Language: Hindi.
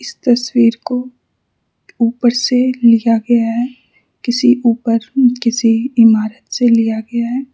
इस तस्वीर को ऊपर से लिया गया है किसी ऊपर किसी इमारत से लिया गया है।